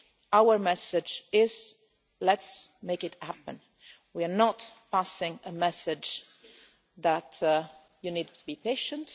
all. Our message is Let's make it happen'. We are not passing a message saying that you need to be patient.